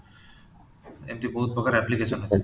ଏମିତି ବହୁତ ପ୍ରକାର application ଅଛି ତାର